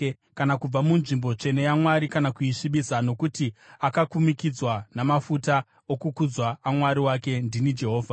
kana kubva munzvimbo tsvene yaMwari kana kuisvibisa, nokuti akakumikidzwa namafuta okuzodza aMwari wake. Ndini Jehovha.